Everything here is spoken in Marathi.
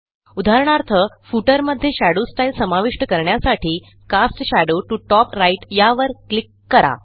उदाहरणार्थ Footerमध्ये शेडो स्टाईल समाविष्ट करण्यासाठी कास्ट शेडो टीओ टॉप Rightयावर क्लिक करा